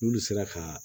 N'olu sera ka